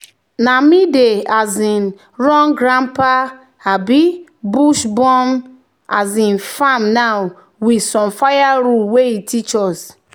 "na me dey um run grandpa um bush-burn um farm now with same fire rule wey e teach us."